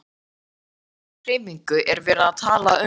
En um hvers konar hreyfingu er verið að tala um?